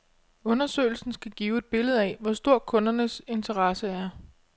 Undersøgelsen skal give et billede af, hvor stor kundernes interesse er.